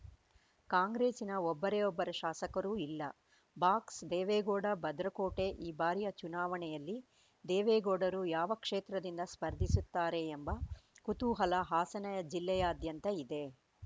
ಕಾಂಗ್ರೆಸ್ಸಿನ ಒಬ್ಬರೇ ಒಬ್ಬರು ಶಾಸಕರೂ ಇಲ್ಲ ಬಾಕ್ಸ್‌ ದೇವೇಗೌಡ ಭದ್ರಕೋಟೆ ಈ ಬಾರಿಯ ಚುನಾವಣೆಯಲ್ಲಿ ದೇವೇಗೌಡರು ಯಾವ ಕ್ಷೇತ್ರದಿಂದ ಸ್ಪರ್ಧಿಸುತ್ತಾರೆ ಎಂಬ ಕುತೂಹಲ ಹಾಸನ ಜಿಲ್ಲೆಯಾದ್ಯಂತ ಇದೆ